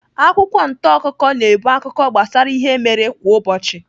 Akwụkwọ ntaakụkọ na-ebu akụkọ gbasara ihe mere kwa ụbọchị.